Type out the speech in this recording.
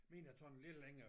Min har taget lidt længere